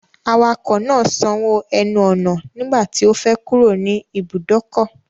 Awakọ̀ náà sanwó ẹnu ọ̀nà nígbà tí ó fẹ́ kúrò nì ìbùdókọ̀.